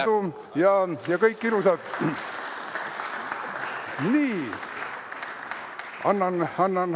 Edu, jõudu ja kõike ilusat!